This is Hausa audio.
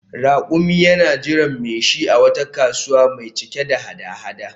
Rakumi yana jiran mai shi a wata kasuwa mai cike da hada-hada